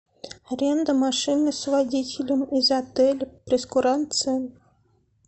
аренда машины с водителем из отеля прейскурант цен